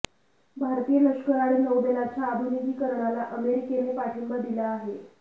भारतीय लष्कर आणि नौदलाच्या आधुनिकीकरणाला अमेरिकेने पाठिंबा दिला आहे